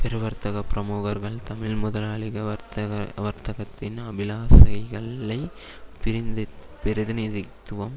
பெரு வர்த்தக பிரமுகர்கள் தமிழ் முதலாளிக வர்த்தக வர்க்கத்தின் அபிலாசைகள்ளைப் பிரதிநிதித்துவம்